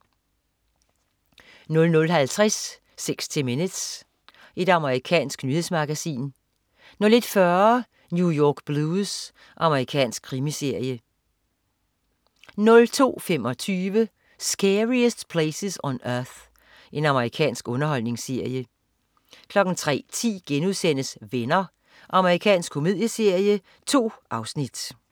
00.50 60 Minutes. Amerikansk nyhedsmagasin 01.40 New York Blues. Amerikansk krimiserie 02.25 Scariest Places on Earth. Amerikansk underholdningsserie 03.10 Venner.* Amerikansk komedieserie. 2 afsnit